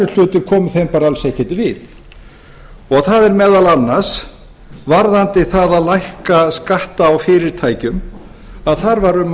hlutir komu þeim bara alls ekkert við það er meðal annars varðandi það að lækka skatta á fyrirtækjum að þar var um að